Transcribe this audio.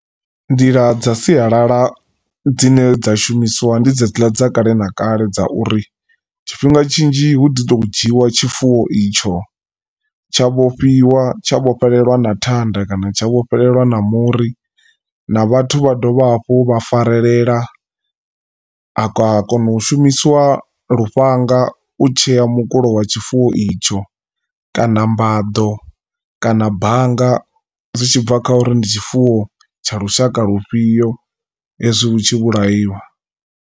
Nḓila dza sialala dzine dza shumisiwa ndi dzedziḽa dza kale na kale dza uri tshifhinga tshinzhi hu ḓi to dzhiwa tshifuwo itsho tsha vhofhiwa tsha vho fhelelwa na thanda kana tsha vhofhelelwa na muri. Na vhathu vha dovha hafhu vha farelela ha kona u shumisiwa lufhanga u tshea mukulo wa tshifuwo itsho kana mbaḓo kana bannga zwi tshibva kha uri ndi tshifuwo tsha lushaka lufhio hezwi hu tshi vhulaiwa.